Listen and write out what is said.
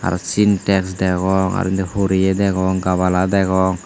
aro sintax degong aro indi horeye degong gabala degong.